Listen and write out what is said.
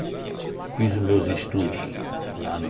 Fiz os meus estudos lá no...